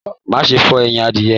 Má ṣe fọ ẹyìn adìyẹ̀!